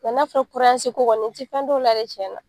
Nka n'a fɔra ko kɔni n tɛ fɛn dɔn o la dɛ